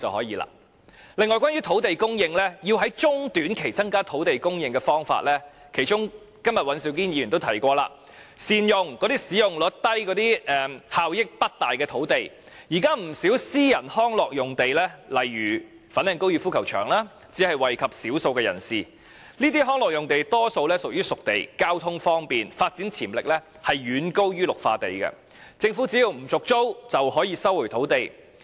此外，關於土地供應，在中、短期增加土地供應的方法——今天尹兆堅議員也提過——善用使用率低及效益不大的土地，現時不少私人康樂用地，例如粉嶺高爾夫球場，只惠及少數人士，這些康樂用地屬於"熟地"，既交通方便，發展潛力亦遠高於綠化地，政府只要不續租，便可以收回土地。